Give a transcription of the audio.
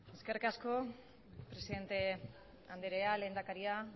eskerrik asko presidente andrea lehendakaria